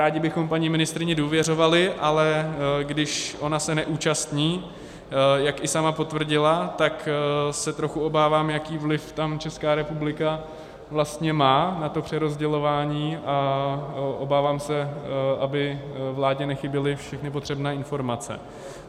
Rádi bychom paní ministryni důvěřovali, ale když ona se neúčastní, jak i sama potvrdila, tak se trochu obávám, jaký vliv tam Česká republika vlastně má na to přerozdělování, a obávám se, aby vládě nechyběly všechny potřebné informace.